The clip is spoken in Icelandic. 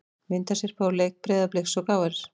Myndasyrpa úr leik Breiðabliks og KR